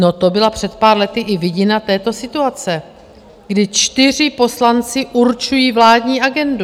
No to byla před pár lety i vidina této situace, kdy čtyři poslanci určují vládní agendu.